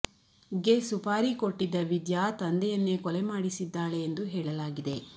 ಗೆ ಸುಪಾರಿ ಕೊಟ್ಟಿದ್ದ ವಿದ್ಯಾ ತಂದೆಯನ್ನೇ ಕೊಲೆ ಮಾಡಿಸಿದ್ದಾಳೆ ಎಂದು ಹೇಳಲಾಗಿದೆ